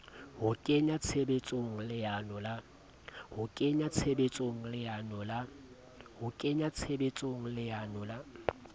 ho kenya tshebetsong leano la